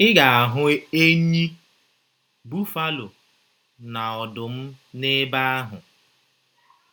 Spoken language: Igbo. Ị ga - ahụ enyí, bufalo, na ọdụm n’ebe ahụ.